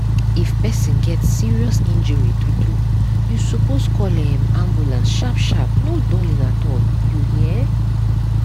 if person get serious injury true true you suppose call um ambulance sharp sharp no dulling at all you hear?